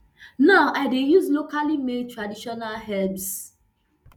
now i dey use locally made traditional herbs